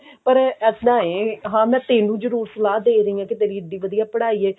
ਪਰ ਇੱਦਾਂ ਹੈ ਹਾਂ ਮੈਂ ਤੇਨੂੰ ਜਰੁਰ ਸਲਾਹ ਦੇ ਰਹੀ ਹਾਂ ਕਿ ਤੇਰੀ ਇੱਡੀ ਵਧੀਆ ਪੜ੍ਹਾਈ ਹੈ